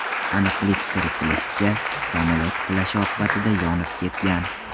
Aniqlik kiritlishicha, samolyot qulashi oqibatida yonib ketgan.